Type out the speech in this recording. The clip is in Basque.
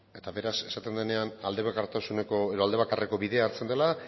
eta beraz esaten denean aldebakarreko bidea hartzen dela